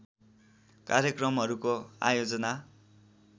कार्यक्रमहरूको आयोजना